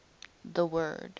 the word